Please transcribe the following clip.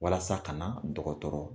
Walasa ka na dɔgɔtɔrɔ